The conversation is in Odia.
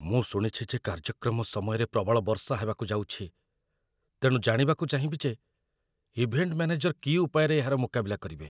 ମୁଁ ଶୁଣିଛି ଯେ କାର୍ଯ୍ୟକ୍ରମ ସମୟରେ ପ୍ରବଳ ବର୍ଷା ହେବାକୁ ଯାଉଛି, ତେଣୁ ଜାଣିବାକୁ ଚାହିଁବି ଯେ ଇଭେଣ୍ଟ ମ୍ୟାନେଜର କି ଉପାୟରେ ଏହାର ମୁକାବିଲା କରିବେ।